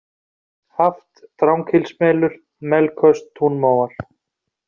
Haft, Dranghylsmelur, Melköst, Túnmóar